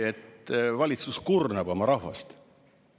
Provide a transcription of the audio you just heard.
–, et valitsus kurnab oma rahvast.